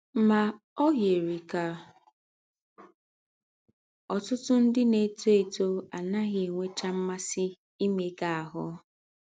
Ma ọ yiri ka ọtụtụ ndị na - etọ etọ anaghị enwecha mmasị imega ahụ́.